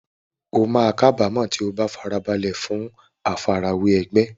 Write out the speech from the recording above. O máa kábàámọ̀ tí o bá farasílẹ̀ fún àfarawé ẹgbẹ́.